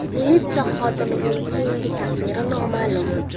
Militsiya xodimining keyingi taqdiri noma’lum.